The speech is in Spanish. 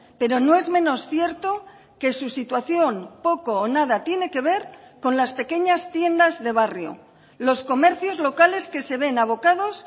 pero no es menos cierto que su situación poco o nada tiene que ver con las pequeñas tiendas de barrio los comercios locales que se ven abocados